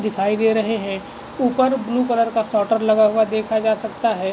दिखाई दे रहे है ऊपर ब्लू कलर का शॉटर लगा हुआ देखा जा सकता है।